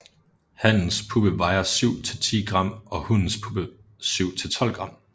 Hannens puppe vejer 7 til 10 g og hunnens puppe 7 til 12 g